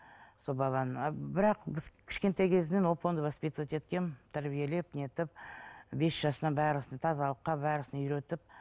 сол баланы а бірақ біз кішкентай кезінен оп оңды воспитывать еткенмін тәрбиелеп не етіп бес жасынан тазалыққа үйретіп